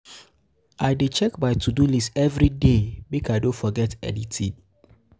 um I dey check my to-do list everyday, make I um no forget anytin.